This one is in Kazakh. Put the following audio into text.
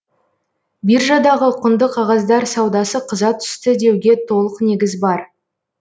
биржадағы құнды қағаздар саудасы қыза түсті деуге толық негіз бар